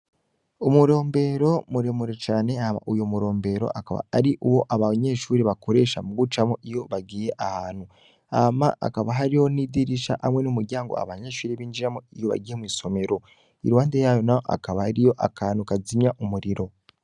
Umurombero muremure cane ama uyo murombero akaba ari uwo aba banyeshuri bakoresha mu gucamo iyo bagiye ahantu ama akaba hari ho n'idirisha hamwe n'umuryango abanyeshuri b'injiramo iyo bagiye mw'isomero i ruhande yayo na ho akaba hari yo akantu kazimya umuriro.